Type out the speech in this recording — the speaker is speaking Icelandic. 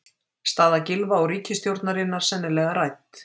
Staða Gylfa og ríkisstjórnarinnar sennilega rædd